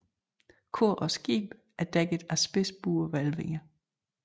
Kor og skib er dækket af spidsbuede hvælvinger